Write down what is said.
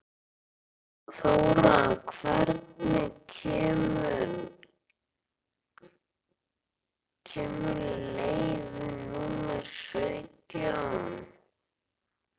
Þóra, hvenær kemur leið númer sautján?